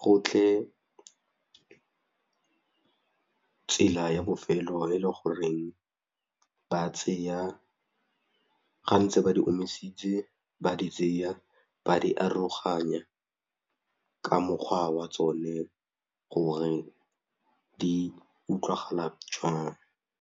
gotlhe tsela ya bofelo e le goreng ba tseya ga ntse ba di omisitse ba di tseya ba di aroganya ka mokgwa wa tsone gore di utlwagala jwang.